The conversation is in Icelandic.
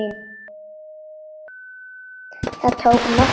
Það tók nokkra stund.